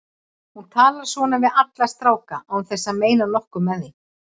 Hún talar svona við alla stráka án þess að meina nokkuð með því.